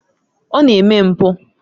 Ọ na-eme mpụ.